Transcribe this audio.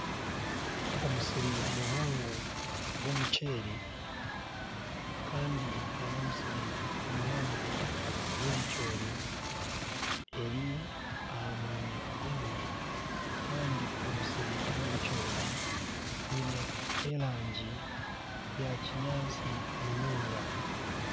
Omusiri muhango gw'omuceeri kandi n'omusiri muhango gw'ebicoori eri aha mwanya gumwe kandi omusiri gw'ebicoori gwiine erangi ya kinyaatsi munonga.